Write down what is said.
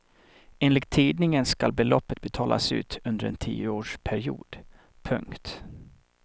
Enligt tidningen skall beloppet betalas ut under en tioårsperiod. punkt